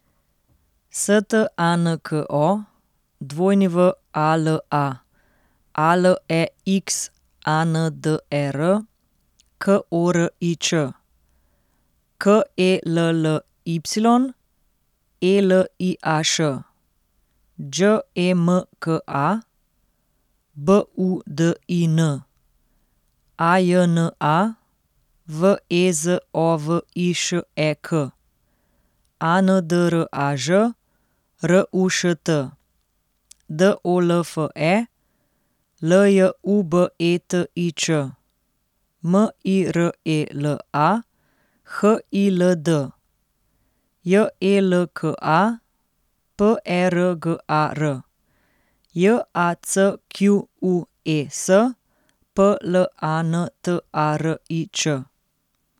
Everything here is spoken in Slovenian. S T A N K O, W A L A; A L E X A N D E R, K O R I Ć; K E L L Y, E L I A Š; Đ E M K A, B U D I N; A J N A, V E Z O V I Š E K; A N D R A Ž, R U Š T; D O L F E, L J U B E T I Ć; M I R E L A, H I L D; J E L K A, P E R G A R; J A C Q U E S, P L A N T A R I Č.